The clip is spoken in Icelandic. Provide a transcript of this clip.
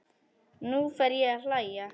Nú fer ég að hlæja.